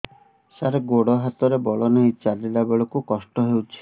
ସାର ଗୋଡୋ ହାତରେ ବଳ ନାହିଁ ଚାଲିଲା ବେଳକୁ କଷ୍ଟ ହେଉଛି